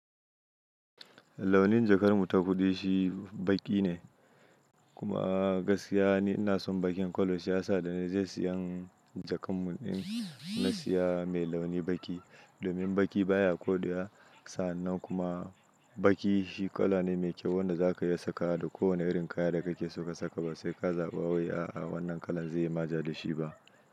Launin jakar mu ta kudi shi baki ne, kuma gaskiya ni ina son bakin kwalo shi ya sa da na je siyan jakar mu in na siya mai launi baki. Domin baki baya kodeya, sannan kuma baki shi kala ne mai kyau wanda za ka iya saka da kowane irin kaya da kake so ka saka ba sai ka zaba wai a'a wannan kalan zai yi ma ja da shi ba.